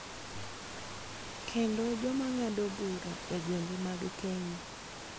Kendo joma ng�ado bura e gwenge mag Kenya.